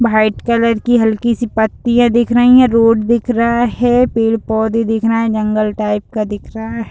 White colour की हल्की सी पत्तियाँ दिख रही हैं रोड दिख रहा है पेड़-पौधे दिख रहे हैं जंगल टाइप का दिख रहा है।